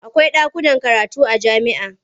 Akwai ɗakunan karatu a jami'a.